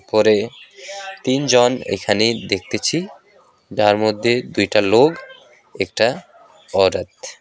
ঘরে তিনজন ওইখানে দেখতেছি যার মধ্যে দুইটা লোগ একটা ঔরত।